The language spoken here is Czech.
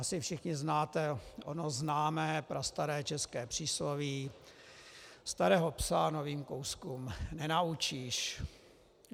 Asi všichni známe ono známé, prastaré české přísloví - starého psa novým kouskům nenaučíš.